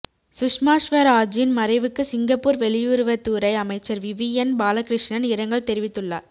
சுஷ்மா ஸ்வராஜின் மறைவுக்கு சிங்கப்பூர் வெளியுறவுத்துறை அமைச்சர் விவியன் பாலகிருஷ்ணன் இரங்கல் தெரிவித்துள்ளார்